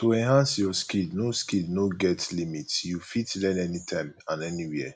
to enhance your skill no skill no get limit you fit learn anytime and anywhere